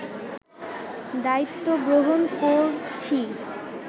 দায়িত্ব গ্রহণ করছি